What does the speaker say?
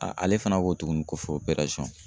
ale fana ko tuguni ko fɔ